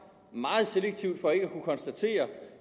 meget selektivt for ikke at kunne konstatere